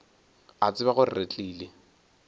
a tseba gore re tlile